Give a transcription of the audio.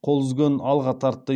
қол үзгенін алға тартты